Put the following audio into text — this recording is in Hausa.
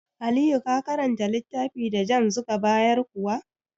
Aliyu ka karanta littafi da JAMB zuka bayar kuwa?